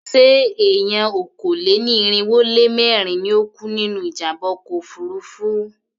Ṣé èèyàn okòó-lé-ní-irínwó-lé-mẹ́rin ni ó kú nínú ìjàmbá ọkọ̀ òfurufú náà?